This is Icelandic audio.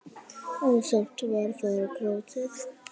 og sárt var þar grátið.